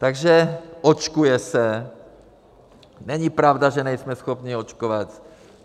Takže: očkuje se, není pravda, že nejsme schopni očkovat.